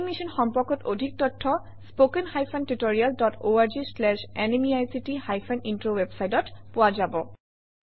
এই মিশ্যন সম্পৰ্কত অধিক তথ্য spoken hyphen tutorial dot org slash এনএমইআইচিত হাইফেন ইন্ট্ৰ ৱেবচাইটত পোৱা যাব